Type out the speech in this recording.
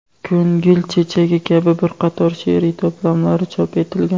"Ko‘ngil chechagi" kabi bir qator she’riy to‘plamlari chop etilgan.